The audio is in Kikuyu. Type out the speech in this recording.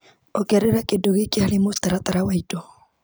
Ongerera kĩndũ gĩkĩ harĩ mũtaratara wa indo .